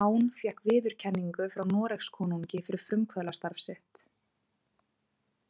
Hán fékk viðurkenningu frá Noregskonungi fyrir frumkvöðlastarf sitt.